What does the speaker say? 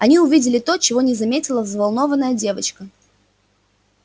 они увидели то чего не заметила взволнованная девочка